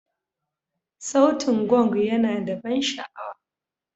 Sautin Gong yana da ban sha'awa.